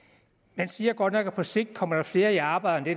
man siger godt nok at på sigt kommer der flere i arbejde